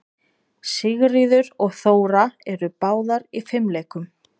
Sigríður og Þóra eru báðar í fimleikum.